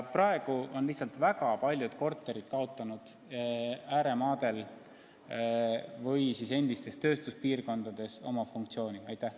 Praegu on lihtsalt väga paljud korterid ääremaadel ja endistes tööstuspiirkondades oma funktsiooni kaotanud.